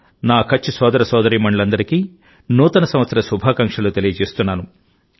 నా కచ్ సోదర సోదరీమణులందరికీ నూతన సంవత్సర శుభాకాంక్షలు తెలియజేస్తున్నాను